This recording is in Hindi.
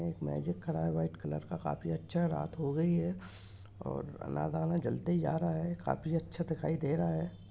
एक मैजिक खड़ा है व्हाइट कलर का काफी अच्छा रात हो रही है और आना जाना चलते जा रहा है काफी अच्छा दिखाई दे रहा है।